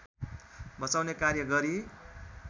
बचाउने कार्य गरी